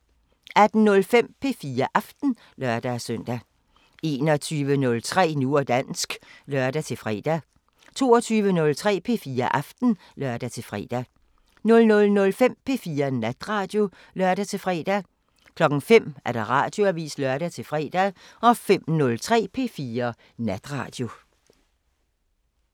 18:05: P4 Aften (lør-søn) 21:03: Nu og dansk (lør-fre) 22:03: P4 Aften (lør-fre) 00:05: P4 Natradio (lør-fre) 05:00: Radioavisen (lør-fre) 05:03: P4 Natradio